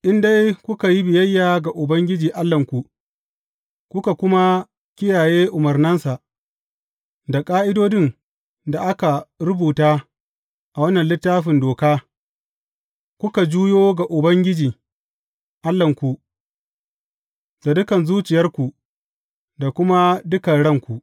In dai kuka yi biyayya ga Ubangiji Allahnku, kuka kuma kiyaye umarnansa da ƙa’idodin da aka rubuta a wannan Littafin Doka, kuka juyo ga Ubangiji Allahnku da dukan zuciyarku da kuma dukan ranku.